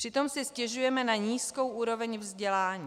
Přitom si stěžujeme na nízkou úroveň vzdělání.